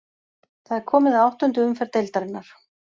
Það er komið að áttundu umferð deildarinnar.